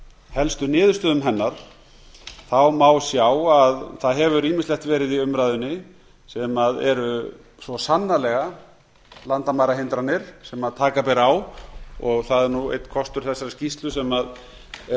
helstu niðurstöðum hennar má sjá að það hefur ýmislegt verið í umræðunni sem eru svo sannarlega landamærahindranir sem taka ber á og það er nú einn kostur þessarar skýrslu sem er